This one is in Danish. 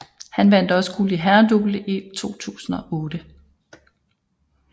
Han vandt også guld i herredouble i 2008